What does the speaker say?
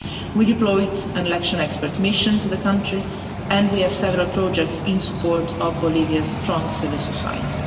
We deployed an election expert mission to the country and we have several projects in support of Bolivia's strong civil society.